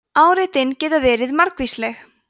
áreitin geta verið margvísleg